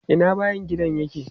Ina bayin gidan nan yake?